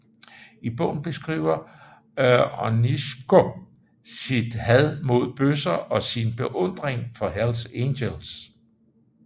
I bogen beskriver Onyszko sit had mod bøsser og sin beundring for Hells Angels